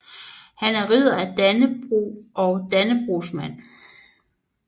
Han var Ridder af Dannebrog og Dannebrogsmand